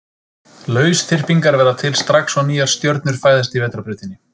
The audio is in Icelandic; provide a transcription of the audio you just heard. Lausþyrpingar verða til strax og nýjar stjörnur fæðast í Vetrarbrautinni.